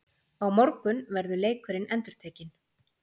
Á morgun verður leikurinn endurtekinn